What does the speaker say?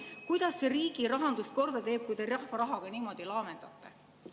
Kuidas see riigi rahanduse korda teeb, kui te rahva rahaga niimoodi laamendate?